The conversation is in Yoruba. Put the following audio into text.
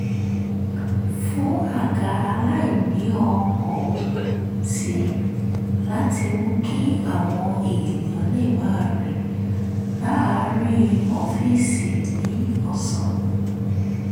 fún àga aláìníòókòó sí i láti mú kí àwọn èèyàn lè máa rìn láàárín ọ́fíìsì ní ọ̀sán